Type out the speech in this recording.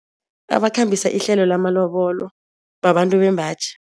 Abakhambisa ihlelo lamalobolo babantu bembaji.